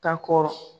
Ka kɔrɔ